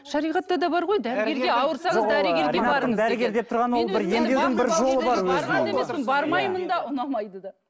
шариғатта бар ғой дәрігерге ауырсаңыз дәрігерге барыңыз деген бармаймын да ұнамайды да